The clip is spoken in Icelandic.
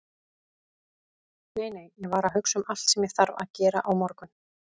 Nei, nei, ég var að hugsa um allt sem ég þarf að gera á morgun.